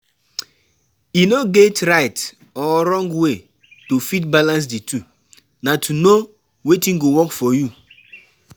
E no get right or wrong way to fit balance di two, na to know wetin go work for you